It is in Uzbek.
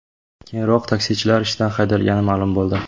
Keyinroq taksichilar ishdan haydalgani ma’lum bo‘ldi.